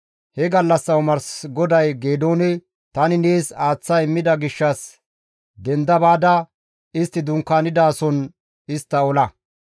He gallassa omars GODAY Geedoone, «Tani nees aaththa immida gishshas denda baada istti dunkaanidason istta ola.